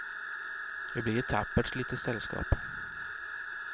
Vi blir ett tappert litet sällskap.